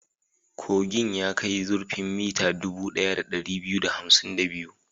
Kogin ya kai zurfin mita dubu ɗaya da ɗari biyu da hamsin da biyu.